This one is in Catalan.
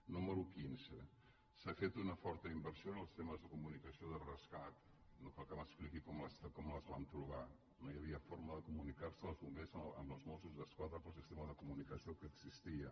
número quinze s’ha fet una forta inversió en els temes de comunicació de rescat no cal que m’expliqui com les vam trobar no hi havia forma de comunicar·se els bombers amb els mossos d’esquadra pel sistema de comunicació que existia